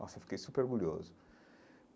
Nossa, eu fiquei super orgulhoso.